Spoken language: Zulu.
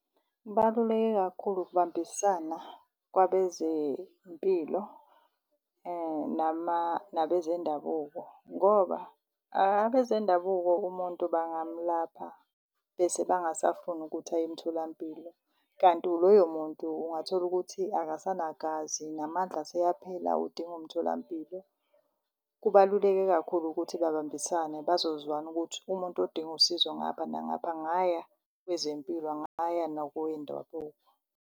Kubaluleke kakhulu ukubambisana kwabezempilo nabezendabuko. Ngoba abezendabuko umuntu bangamlapha bese bangasafuni ukuthi aye emtholampilo, kanti loyo muntu ungatholukuthi akasanagazi namandla aseyaphela udinga umtholampilo. Kubaluleke kakhulu ukuthi babambisane bazozwana ukuthi umuntu odinga usizo ngapha nangapha angaya kwezempilo, angaya nakowendabuko.